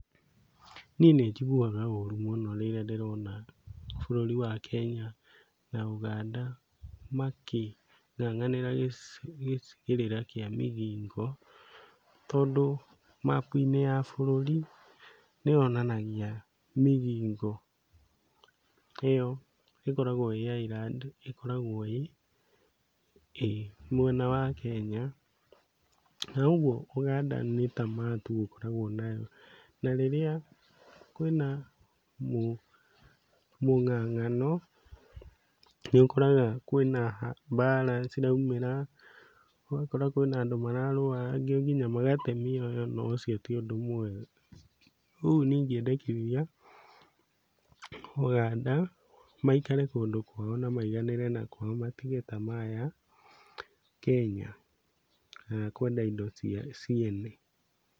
Niĩ nĩnjiguaga ũru mũno rĩrĩa ndĩrona bũrũri wa Kenya na Ũganda makĩng'ang'anĩra gĩcigĩrĩra kĩa Migingo, tondũ mapu-inĩ ya bũrũri nĩyonanagia Migingo ĩyo ĩkoragwo ĩ island ĩkoragwo ĩ, ĩ mwena wa Kenya, na ũguo Ũganda nĩ tamaa tu ũkoragwo nayo, na rĩrĩa kwĩna mũng'ang'ano nĩũkoraga kwĩna mbara ciraumĩra, ũgakora kwĩna andũ mararũa, angĩ kinya magate mĩoyo na ũcio ti ũndũ mwega. Rĩu niĩ ingĩendekithia Ũganda maikare kũndũ kwao na maiganĩre na kwao matige tamaa ya Kenya, na ya kwenda indo ciene.